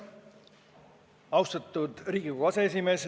Austatud Riigikogu aseesimees!